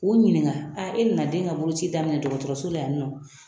K'u ɲininka a e nana den ka boloci daminɛ dɔgɔtɔrɔso la yan nɔ